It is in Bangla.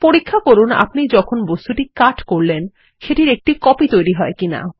পরীক্ষা করুন আপনি যখন বস্তুটি কাট করলেন সেটির একটি কপি তৈরী হয় কি না